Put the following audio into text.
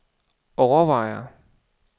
overvejer